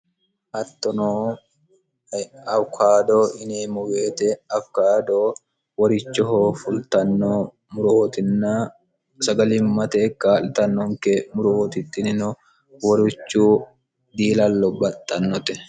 hattono awkaado ineemmu beete afikaado worichoho fultanno muruootinna sagalimmate ekkaa'litannonke muruwootittinino worichu diilallo baxxannote